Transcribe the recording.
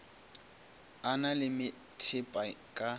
a na le methepa ka